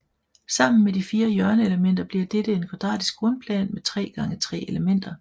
Sammen med de fire hjørneelementer bliver dette en kvadratisk grundplan med tre gange tre elementer